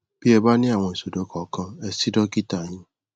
bí ẹ bá ní àwọn ìṣòro kòòkan ẹ sí dọkítà yín